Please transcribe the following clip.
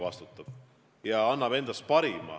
Muidugi ta vastutab ja annab endast parima.